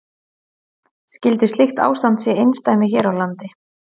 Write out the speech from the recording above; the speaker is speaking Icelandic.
Skyldi slíkt ástand sé einsdæmi hér á landi?